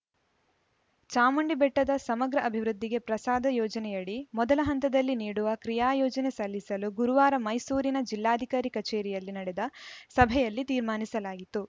ಚಾಮುಂಡಿಬೆಟ್ಟದ ಸಮಗ್ರ ಅಭಿವೃದ್ಧಿಗೆ ಪ್ರಸಾದ ಯೋಜನೆಯಡಿ ಮೊದಲ ಹಂತದಲ್ಲಿ ನೀಡುವ ಕ್ರಿಯಾಯೋಜನೆ ಸಲ್ಲಿಸಲು ಗುರುವಾರ ಮೈಸೂರಿನ ಜಿಲ್ಲಾಧಿಕಾರಿ ಕಚೇರಿಯಲ್ಲಿ ನಡೆದ ಸಭೆಯಲ್ಲಿ ತೀರ್ಮಾನಿಸಲಾಯಿತು